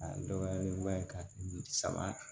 A dɔgɔyalen ba ye ka kɛ saba